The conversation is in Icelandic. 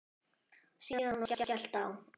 Síðan var skellt á.